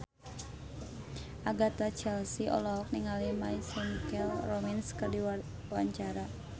Agatha Chelsea olohok ningali My Chemical Romance keur diwawancara